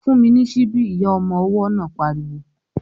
"Fún mi ní síbí!" Ìyá ọmọ ọwọ́ náà pariwo